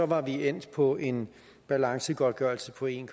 var vi endt på en balancegodtgørelse på en